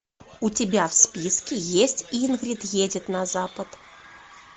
у тебя в списке есть ингрид едет на запад